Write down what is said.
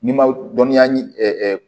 N'i ma dɔnniya